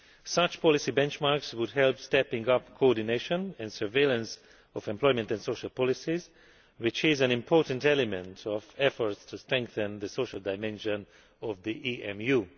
Such policy benchmarks would help step up coordination and surveillance of employment and social policies, which is an important element of efforts to strengthen the social dimension of the EMU.